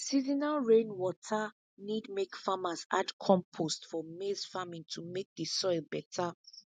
seasonal rainwater need make farmers add compost for maize farming to make the soil better